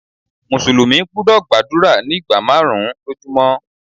Mùsùlùmí gbúdọ̀ gbàdúrà ní ìgbà márùn-ún lójú mọ́.